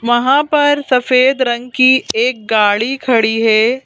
वहाँ पर सफेद रंग की एक गाड़ी खड़ी है।